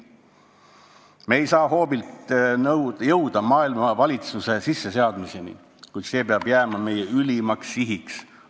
Me ei saa hoobilt jõuda maailma valitsuse sisseseadmiseni, kuid see peab jääma meie ülimaks sihiks.